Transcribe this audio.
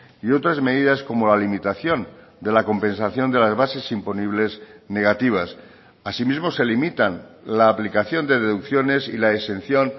y otras medidas como la limitación de la compensación de las bases imponibles negativas así mismo se limitan la aplicación de deducciones y la exención